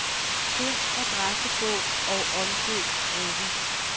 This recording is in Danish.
Find adressebog og omdøb gruppen.